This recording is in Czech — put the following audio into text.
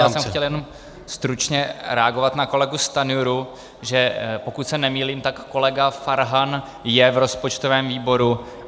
Já jsem chtěl jenom stručně reagovat na kolegu Stanjuru, že pokud se nemýlím, tak kolega Farhan je v rozpočtovém výboru.